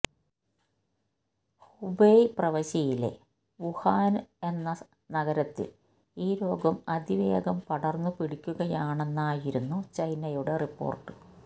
Hubei പ്രവിശ്യയിലെ Wuhan എന്ന നഗരത്തില് ഈ രോഗം അതിവേഗം പടര്ന്നു പിടിക്കുകയാണെന്നായിരുന്നു ചൈനയുടെ റിപ്പോര്ട്ട്